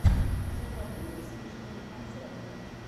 у тебя будет смешные концерты